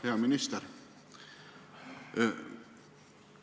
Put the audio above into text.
Hea minister!